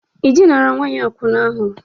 Ịdịnara Nwanyi Akwuna ahụ?